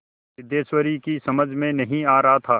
सिद्धेश्वरी की समझ में नहीं आ रहा था